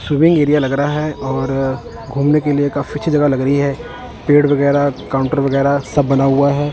Swimming area लग रहा हैं और घूमने के लिए काफी अच्छी जगह लग रही हैं पेड़ वगैरा काउंटर वगैरा सब बना हुआ हैं।